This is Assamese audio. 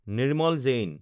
নিৰ্মল জেইন